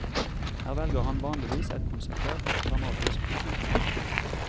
Her velger han vanligvis et konsentrert dramatisk utgangspunkt.